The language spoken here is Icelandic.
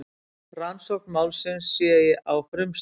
Rannsókn málsins sé á frumstigi